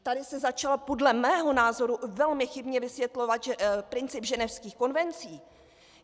Tady se začal podle mého názoru velmi chybně vysvětlovat princip ženevských konvencí.